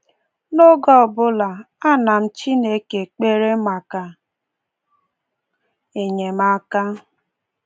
N’oge ọbụla, ana m Chineke ekpere maka enyemaka!